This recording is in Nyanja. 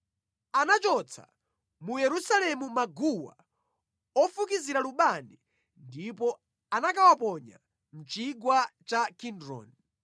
Anachotsa mu Yerusalemu maguwa ofukizira lubani ndipo anakawaponya mʼchigwa cha Kidroni.